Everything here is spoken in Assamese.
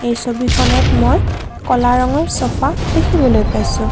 এই ছবিখনত মই ক'লা ৰঙৰ চোফা দেখিবলৈ পাইছোঁ।